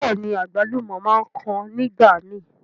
Bẹ́ẹ̀ni, àgbálùmọ̀ máa ń kan nígbàmi.